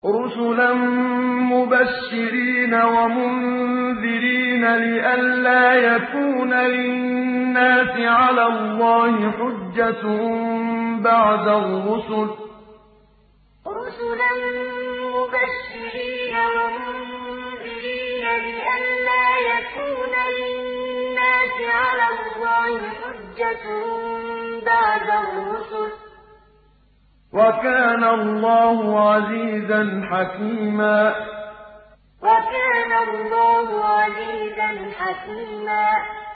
رُّسُلًا مُّبَشِّرِينَ وَمُنذِرِينَ لِئَلَّا يَكُونَ لِلنَّاسِ عَلَى اللَّهِ حُجَّةٌ بَعْدَ الرُّسُلِ ۚ وَكَانَ اللَّهُ عَزِيزًا حَكِيمًا رُّسُلًا مُّبَشِّرِينَ وَمُنذِرِينَ لِئَلَّا يَكُونَ لِلنَّاسِ عَلَى اللَّهِ حُجَّةٌ بَعْدَ الرُّسُلِ ۚ وَكَانَ اللَّهُ عَزِيزًا حَكِيمًا